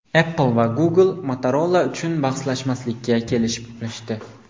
Apple va Google Motorola uchun bahslashmaslikka kelishib olishdi.